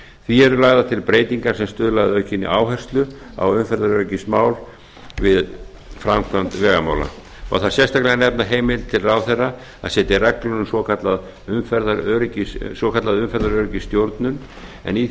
því eru lagðar til breytingar sem stuðla að aukinni áherslu á umferðaröryggismál við framkvæmd vegamála má þar sérstaklega nefna heimild til ráðherra að setja reglur um svokallaða umferðaröryggisstjórnun en í